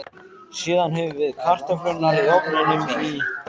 Síðan höfum við kartöflurnar í ofninum í